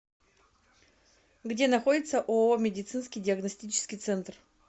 где находится ооо медицинский диагностический центр